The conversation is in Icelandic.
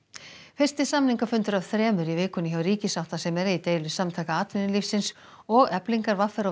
fyrsti samningafundur af þremur í vikunni hjá ríkissáttasemjara í deilu Samtaka atvinnulífsins og Eflingar v r og